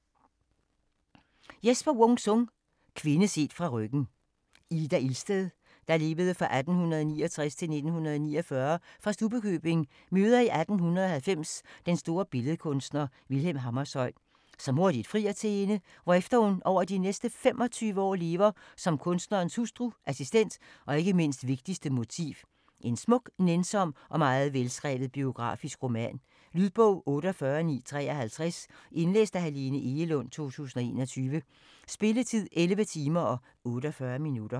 Wung-Sung, Jesper: Kvinde set fra ryggen Ida Ilsted (1869-1949) fra Stubbekøbing møder i 1890 den store billedkunstner, Vilhelm Hammershøi, som hurtigt frier til hende, hvorefter hun over de næste 25 år lever som kunstnerens hustru, assistent, og ikke mindst: vigtigste motiv. En smuk, nænsom og meget velskrevet biografisk roman. Lydbog 48953 Indlæst af Helene Egelund, 2021. Spilletid: 11 timer, 48 minutter.